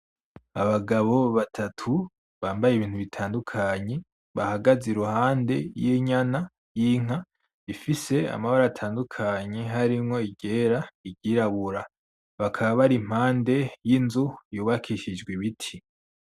Abagabo batatu bambaye ibintu bitandukanye bahagaze iruhande y'inyana y'inka ifise amabara atandukanye harimwo iryera iryirabura bakaba bari impande y'inzu y'ubakishijwe ibiti.